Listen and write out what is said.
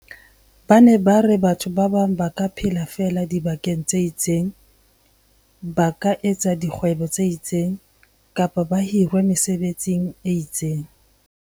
Ba ne ba re batho ba bang ba ka phela feela dibakeng tse itseng, ba ka etsa dikgwebo tse itseng, kapa ba hirwa mesebetsing e itseng.